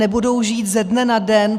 Nebudou žít ze dne na den.